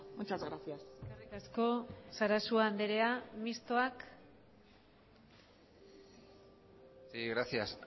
muchas gracias eskerrik asko sarasua anderea mistoak sí gracias